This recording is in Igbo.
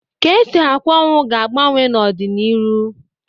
Ka esi akwa ọnwụ ga-agbanwe n'ọdị n'iru.